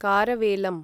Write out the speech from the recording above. कारवेलम्